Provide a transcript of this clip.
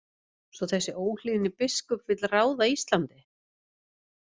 Svo þessi óhlýðni biskup vill ráða Íslandi?